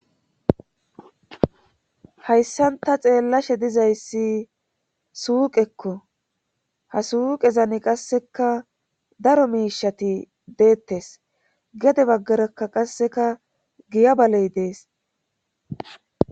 Hayssanta xeellashe dizayssi suuqekko ha suuqe zani qasseka daro miishati deettes gede baggarakka qasseka giya baley dees.